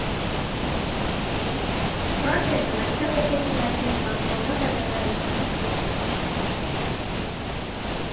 Fransiyada maktab o‘quvchilariga smartfondan foydalanish taqiqlandi.